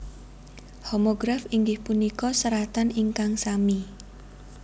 Homograf inggih punika seratan ingkang sami